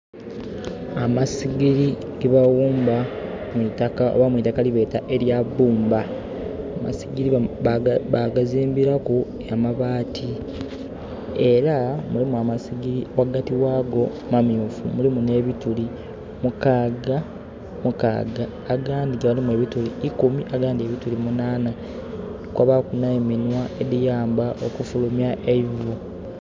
Amasigiri ge bawumba mwitaka oba mwitaka lye beeta erya bbumba. Amasigiri ba gazimbiraku amabaati era mulimu amasigiri wagati wagwo mamyufu, mulimu nebituli mukaaga, mukaaga. Agandi galimu bituuli ikumi agandi ebituuli munaana. Kwabaaku ne minwa eliyamba okufulumya eivu